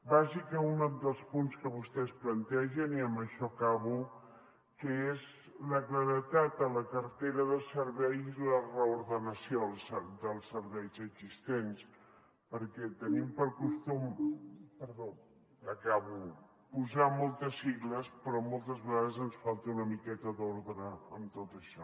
vaig a un dels punts que vostès plantegen i amb això acabo que és la claredat a la cartera de serveis i la reordenació dels serveis existents perquè tenim per costum perdó acabo posar moltes sigles però moltes vegades ens falta una miqueta d’ordre en tot això